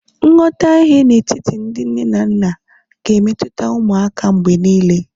nghọtahie n'etiti ndị nne na nna, ga-emetụta ụmụaka mgbe niile